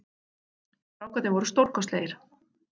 Strákarnir voru stórkostlegir